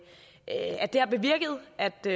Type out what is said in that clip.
det